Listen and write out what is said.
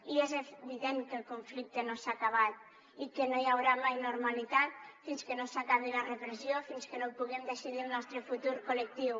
i és evident que el conflicte no s’ha acabat i que no hi haurà mai normalitat fins que no s’acabi la repressió fins que no puguem decidir el nostre futur col·lectiu